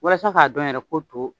Walasa k'a dɔn yɛrɛ ko to.